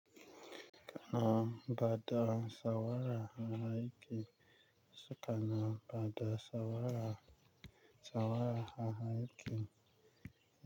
Kana baɗa sawara na aiki, sukana baɗa sawara, sawara a aiki.